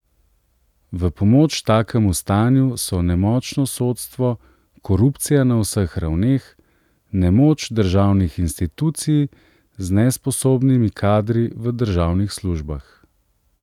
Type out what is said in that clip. V pomoč takemu stanju so nemočno sodstvo, korupcija na vseh ravneh, nemoč državnih institucij z nesposobnimi kadri v državnih službah.